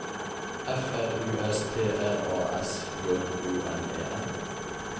F R U S T R A S J O N E N